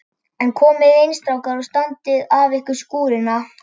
En komiði inn strákar og standið af ykkur skúrina.